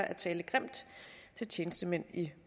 at tale grimt til tjenestemænd i